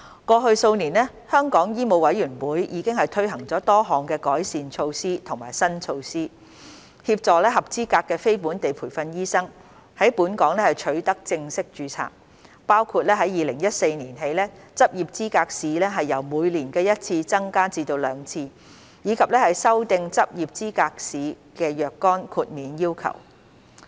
過去數年，香港醫務委員會已推行多項改善措施和新措施，協助合資格的非本地培訓醫生在本港取得正式註冊，包括自2014年起將執業資格試的考試次數由每年一次增至每年兩次，以及修訂執業資格試的若干豁免要求。